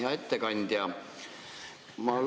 Hea ettekandja!